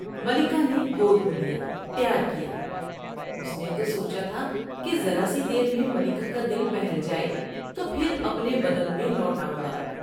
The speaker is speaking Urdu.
ملکہ نے گود میں لیا ، پیار کیا ، اس نے تو سوچا تھا کہ ذرا سی دیر میں ملکہ کا دل بہل جاۓ تو پھر اپنے بدن میں لوٹ آؤں گا ۔